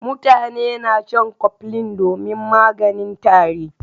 Mutane na shan koflin domin maganin tari.